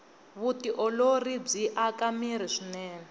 vutiolori byi aka mirhi swinene